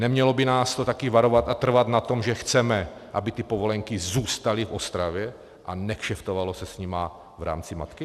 Nemělo by nás to také varovat a trvat na tom, že chceme, aby ty povolenky zůstaly v Ostravě a nekšeftovalo se s nimi v rámci matky?